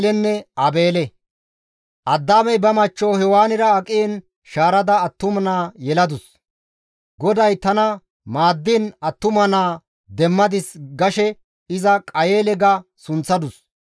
Addaamey ba machcho Hewaanira aqiin iza shaarada attuma naa yeladus; «GODAY tana maaddiin attuma naa demmadis» gashe iza Qayeele ga sunththadus.